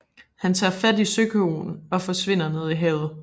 Han tager fat i søkoen og forsvinder ned i havet